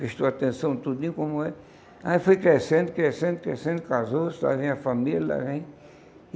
Prestou atenção em tudinho como é. Aí foi crescendo, crescendo, crescendo, casou-se, trazendo a família.